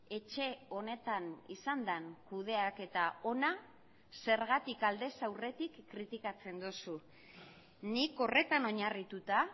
etxe honetan izan den kudeaketa ona zergatik aldez aurretik kritikatzen duzu nik horretan oinarrituta